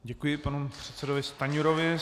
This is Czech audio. Děkuji panu předsedovi Stanjurovi.